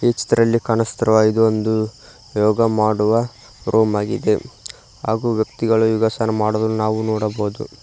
ಈ ಚಿತ್ರದಲ್ಲಿ ಕಾಣುತ್ತಿರುವ ಇದು ಒಂದು ಯೋಗ ಮಾಡುವ ರೂಂ ಆಗಿದೆ ಹಾಗು ವ್ಯಕ್ತಿಗಳು ಯೋಗಾಸನ ಮಾಡುವುದು ನಾವು ನೋಡಬಹುದು.